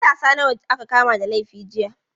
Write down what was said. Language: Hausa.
Matasa nawa aka kama da laifi jiya?